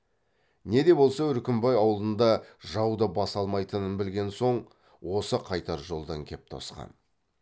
не де болса үркімбай ауылында жауда баса алмайтынын білген соң осы қайтар жолдан кеп тосқан